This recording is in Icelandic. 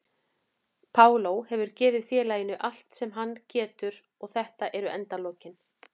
Paulo hefur gefið félaginu allt sem hann getur og þetta eru endalokin.